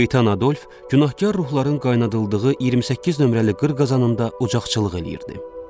Şeytan Adolf günahkar ruhların qaynadıldığı 28 nömrəli qır qazanında ocaqçılıq eləyirdi.